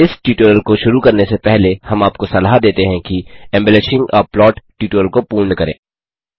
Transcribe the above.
इस ट्यूटोरियल को शुरू करने से पहले हम आपको सलाह देते हैं कि एम्बेलिशिंग आ प्लॉट ट्यूटोरियल को पूर्ण करें